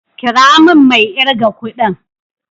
Kira min mai irga kudin.